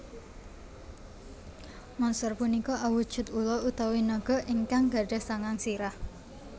Monster punika awujud ula utawi naga ingkang gadhah sangang sirah